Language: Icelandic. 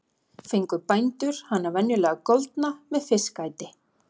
Fengu bændur hana venjulega goldna með fiskæti.